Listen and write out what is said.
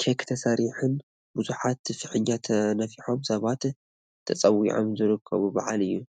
ኬክ ተሰሪሒን ብዙሓት ፍሕኛ ተነፊሑን ሰባት ተፀውዖም ዝክበር ብዓል እዩ።